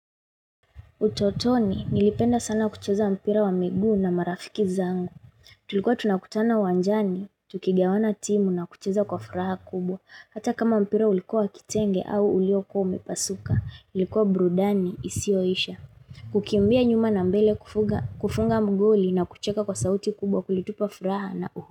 Utotoni, nilipenda sana kucheza mpira wa migu na marafiki zangu. Tulikuwa tunakutana uwanjani, tukigawana timu na kucheza kwa furaha kubwa. Hata kama mpira ulikuwa kitenge au ulioko umepasuka, ilikuwa brudani isioisha. Kukimbia nyuma na mbele kufunga magoli na kucheka kwa sauti kubwa kulitupa furaha na uhu.